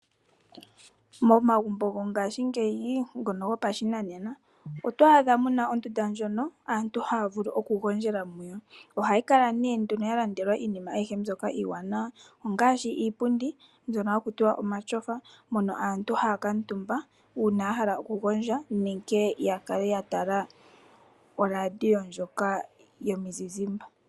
Momagumbo go ngaashingeyi ngono gopashinanena oto a dha mo muna ondunda ndjono aantu haya vulu okugondjela mo, ohayi kala nee nduno yalandelwa iinima ayihe mbyoka iiwanawa ngaashi iipundi mbyono haku tiwa omatyofa na oko nee aantu haya kala yakuutumba uuna taya tala olandiyo ndjoka yomuzizimba.